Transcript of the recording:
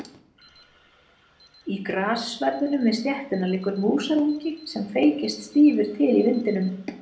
Í grassverðinum við stéttina liggur músarungi sem feykist stífur til í vindinum.